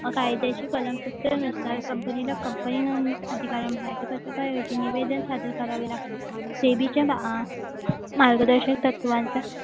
कायद्याची कलम नुसार कंपनीला कंपनी म्हणून याचे निवेदन सादर करावे लागते मार्गदर्शक तत्वांचा